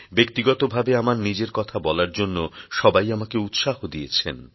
ব্যক্তিগতভাবে আমার নিজের কথা বলার জন্য সবাই আমাকে উৎসাহ দিয়েছেন